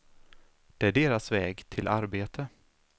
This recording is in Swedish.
Det är deras väg till arbete.